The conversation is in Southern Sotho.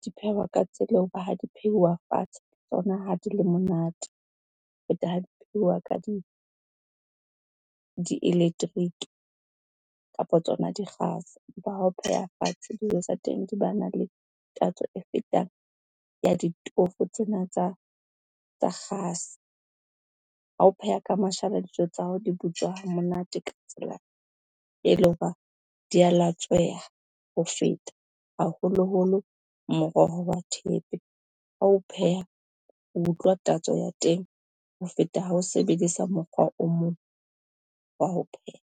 Di phehwa ka tsela eo ba ha di pheuwa fatshe tsona ha di le monate, ho feta ha di pheuwa ka di-electric kapa tsona dikgase. Ha o pheha fatshe dijo tsa teng di ba na le tatso e fetang ya ditofo tsena tsa kgase. Ha o pheha ka mashala, dijo tsa hao di butswa ha monate ka tsela e le ho ba di a latsweha ho feta haholoholo, moroho wa thepe, ha o pheha o utlwa tatso ya teng ho feta ha o sebedisa mokgwa o mong wa ho pheha.